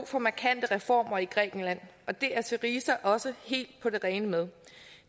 for markante reformer i grækenland og det er syriza også helt på det rene med